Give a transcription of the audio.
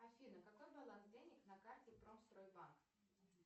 афина какой баланс денег на карте промстройбанк